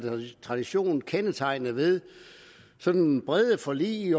tradition kendetegnet ved sådan brede forlig